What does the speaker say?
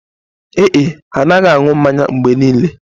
Ee e, ha na-anaghị anụ mmanya mgbe niile